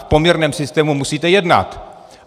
V poměrném systému musíte jednat.